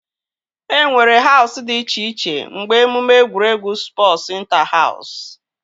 E nwere Hausụ dị iche iche mgbe emume egwuregwu spọsu ịnta-haus